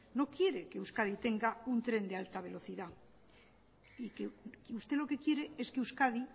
no quiere que euskadi tenga un tren de alta velocidad usted lo que quiere es que euskadi